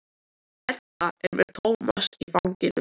Edda er með Tómas í fanginu.